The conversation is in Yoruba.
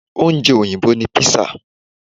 Ọúnjẹ Òyìnbó ni pizza